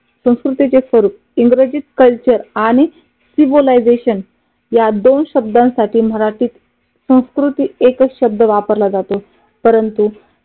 संस्कृतीचे स्वरूप इंग्रजीत कल्चर आणि सिव्हिलिझेशन या दोन शब्दांसाठी मराठी संस्कृतीत एकच शब्द वापरला जातो. परंतु